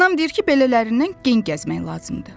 Anam deyir ki, belələrindən gen gəzmək lazımdır.